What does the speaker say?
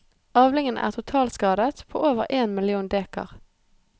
Avlingen er totalskadet på over én million dekar.